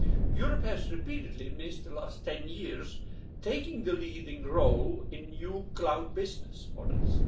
Europe has repeatedly missed the last ten years, taking the leading role in new cloud business models.